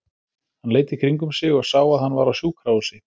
Hann leit í kringum sig og sá að hann var á sjúkrahúsi.